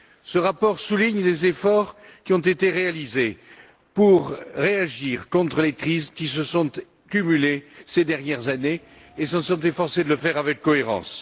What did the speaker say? Ce rapport souligne les efforts qui ont été réalisés pour réagir contre les crises qui se sont cumulées ces dernières années et il s'est efforcé de le faire avec cohérence.